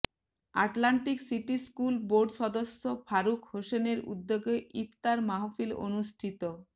Atlantic City school board সদস্য ফারুক হোসেনের উদ্যোগে ইফতার মাহফিল অনুষ্ঠিত